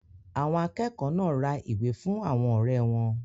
Àwọn akẹ́kọ̀ọ́ náà ra ìwé fún àwọn ọ̀rẹ́ wọn.